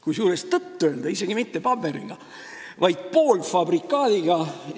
Kusjuures, tõtt-öelda isegi mitte paberiga, vaid poolfabrikaadiga.